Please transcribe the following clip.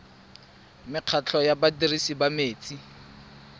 mekgatlho ya badirisi ba metsi